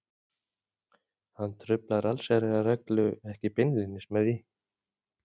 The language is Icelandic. Hann truflar allsherjarreglu ekki beinlínis með því.